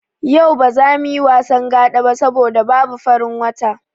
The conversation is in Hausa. Yau ba za muyi wasan Gaɗa ba saboda babu farin wata.